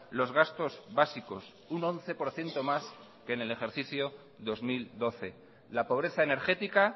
los gastos básicos un once por ciento más que en el ejercicio dos mil doce la pobreza energética